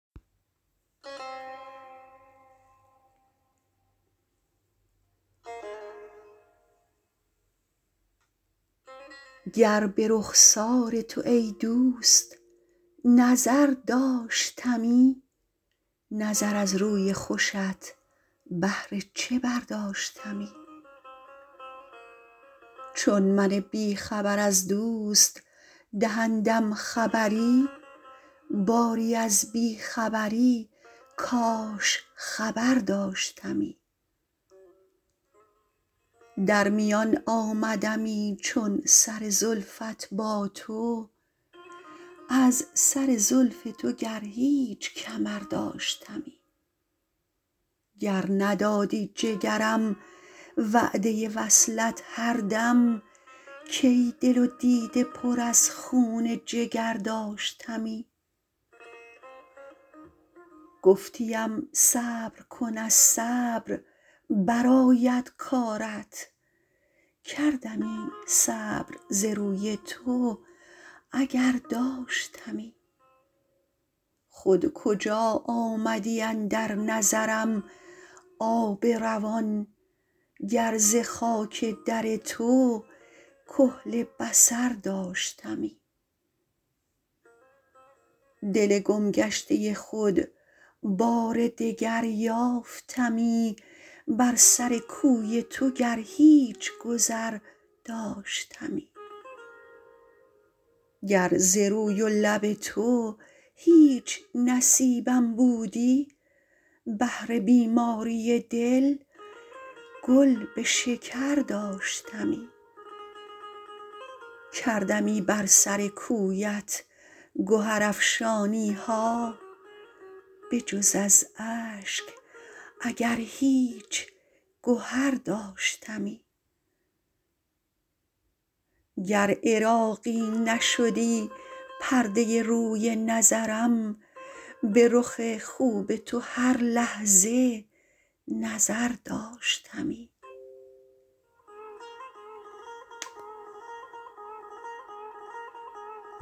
گر به رخسار تو ای دوست نظر داشتمی نظر از روی خوشت بهر چه برداشتمی چون من بی خبر از دوست دهندم خبری باری از بی خبری کاش خبر داشتمی در میان آمدمی چون سر زلفت با تو از سر زلف تو گر هیچ کمر داشتمی گر ندادی جگرم وعده وصلت هر دم کی دل و دیده پر از خون جگر داشتمی گفتیم صبر کن از صبر برآید کارت کردمی صبر ز روی تو اگر داشتمی خود کجا آمدی اندر نظرم آب روان گر ز خاک در تو کحل بصر داشتمی دل گم گشته خود بار دگر یافتمی بر سر کوی تو گر هیچ گذر داشتمی گر ز روی و لب تو هیچ نصیبم بودی بهر بیماری دل گل به شکر داشتمی کردمی بر سر کویت گهرافشانی ها بجز از اشک اگر هیچ گهر داشتمی گر عراقی نشدی پرده روی نظرم به رخ خوب تو هر لحظه نظر داشتمی